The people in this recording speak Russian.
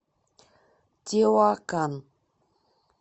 теуакан